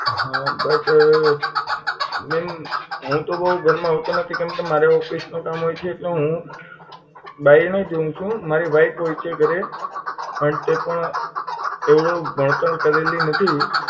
હા but અ ma'am હું તો બહુ ઘરમાં હોતો નથી કેમકે મારે office નું કામ હોય છે એટલે હું બાયણે જ હોઉં છું મારી wife હોય છે ઘરે પણ તે પણ એવડું ભણતર કરેલી નથી